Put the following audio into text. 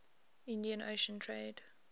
indian ocean trade